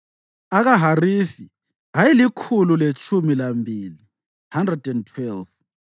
akaHarifi ayelikhulu letshumi lambili (112),